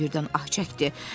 Hamısı birdən ah çəkdi.